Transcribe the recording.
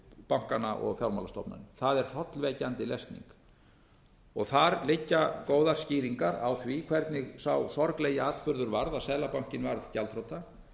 bankana og fjármálastofnanir það er hrollvekjandi lesning þar liggja góðar skýringar á því hvernig sá sorglegi atburður varð að seðlabankinn varð gjaldþrota